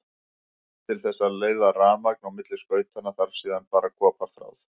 Til þess að leiða rafmagn á milli skautanna þarf síðan bara koparþráð.